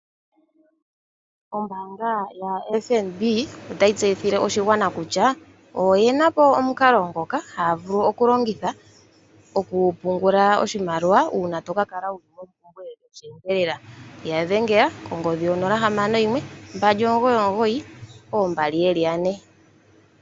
Ombaanga yaFNB otayi tseyithile oshigwana kutya oyina po omukalo ngoka ha vulu okulongitha okupungula oshimaliwa uuna toka kala wuli mompumbwe yosheendelela. Yadhengela konomola 0612992222.